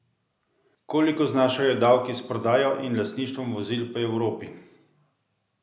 Koliko znašajo davki s prodajo in lastništvom vozil po Evropi?